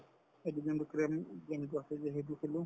সেইটো game তো কেৰম game তো আছে যে সেইটো খেলো